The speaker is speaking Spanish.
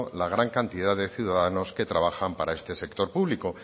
la gran cantidad de ciudadanos que trabajan para este sector público